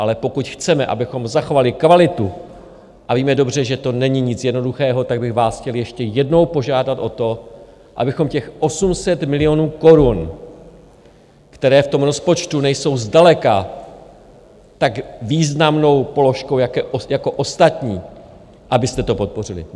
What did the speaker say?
Ale pokud chceme, abychom zachovali kvalitu, a víme dobře, že to není nic jednoduchého, tak bych vás chtěl ještě jednou požádat o to, abychom těch 800 milionů korun, které v tom rozpočtu nejsou zdaleka tak významnou položkou jako ostatní, abyste to podpořili.